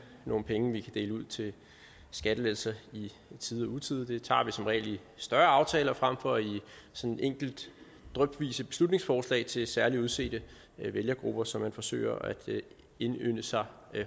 nogen penge vi kan dele ud til skattelettelser i tide og utide det tager vi som regel i større aftaler frem for i sådan enkelte drypvise beslutningsforslag til særligt udsete vælgergrupper som man forsøger at indynde sig